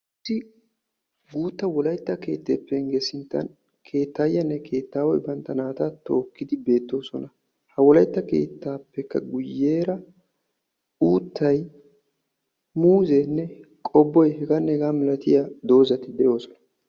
issi guutta wolaytta keettee sinttan keettayiyanne keettaway bantta naata tookidi beettees, ha wolaytta keettaappe guyeera uuttay muuzzeene qobboy hegeetanne hegeeta malattiyaageeta.